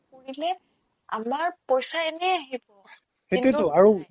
কৰিলে আমাৰ পইচা এনেই আহিব সেটোয়েটো